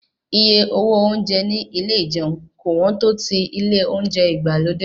Iye owó oúnjẹ ní ilé ìjẹun kò wọ́n tó ti ilé oúnjẹ ìgbàlódé.